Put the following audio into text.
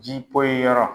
Ji poyi yɔrɔ